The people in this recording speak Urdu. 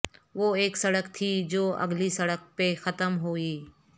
وہ اک سڑک تھی جو اگلی سڑک پہ ختم ہوئی